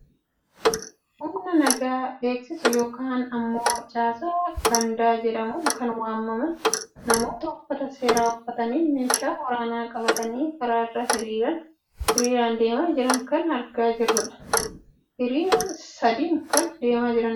Humna nagaa eegsisu yookaan ammoo caasaa gandaa jedhamuun kan waamaman namoota uffata seeraa uffatanii meeshaa waraanaa qabatanii karaa irra hiriiraan deemaa jiran kan argaa jirrudha. Hiriira sadiin kan deemaa jiranidha.